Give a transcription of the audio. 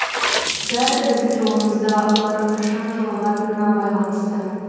бәрі біздің жолымызда олар қашан жолығатынына байланысты